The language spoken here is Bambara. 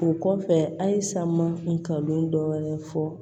O kɔfɛ a ye san ma n kan don dɔ wɛrɛ fɔ